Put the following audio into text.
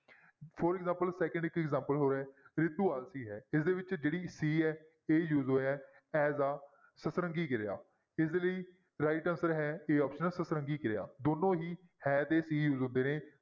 For example second ਇੱਕ example ਹੋਰ ਹੈ ਰਿਤੂ ਹੈ ਇਸਦੇ ਵਿੱਚ ਜਿਹੜੀ ਸੀ ਹੈ ਇਹ use ਹੋਇਆ ਹੈ as a ਸਤਰੰਗੀ ਕਿਰਿਆ, ਇਸ ਲਈ right answer ਹੈ a option ਸਤਰੰਗੀ ਕਿਰਿਆ, ਦੋਨੋਂ ਹੀ ਹੈ ਤੇ ਸੀ use ਹੁੰਦੇ ਨੇ।